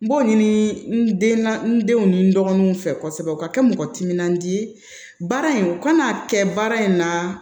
N b'o ɲini n den na n denw ni n dɔgɔninw fɛ kosɛbɛ u ka kɛ mɔgɔ timinandiya ye baara in u kana kɛ baara in na